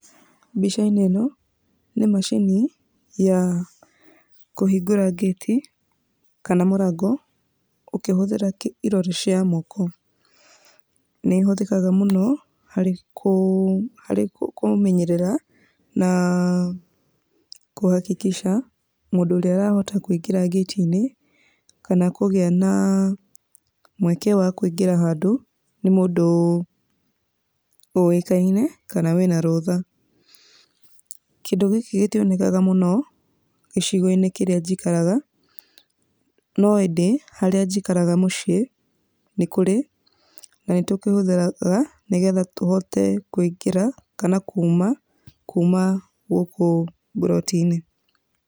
Mbica-inĩ ĩno nĩ macini ya kũhingũra ngĩti kana mũrango, ũkĩhũthĩra irore cia moko. Nĩĩhũthĩkaga mũno harĩ kũmenyerera na kũhakikica mũndũ ũrĩa ũrahota kũingĩra ngĩti-inĩ kana kũgĩa na mweke wa kũingĩra handũ, nĩ mũndũ ũĩkaine kana wĩna rũtha. Kĩndũ gĩkĩ gĩtionekanaga mũno gĩcigo-inĩ kĩrĩa njikaraga, no ĩndĩ harĩa njikaraga mũciĩ nĩ kũrĩ na nĩtũkĩhũthagĩra nĩgetha tũhote kũingĩra kana kuma kuma gũkũ mburoti-inĩ.